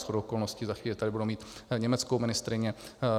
Shodou okolností za chvíli tady budu mít německou ministryni.